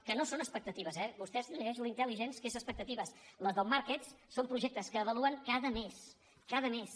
que no són expectatives eh vostè es llegeix l’intelligence que són expectatives les del markets són projectes que avaluen cada mes cada mes